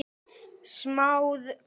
Smáð kona